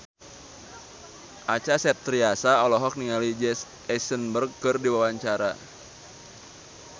Acha Septriasa olohok ningali Jesse Eisenberg keur diwawancara